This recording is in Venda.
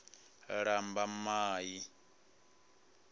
lambamai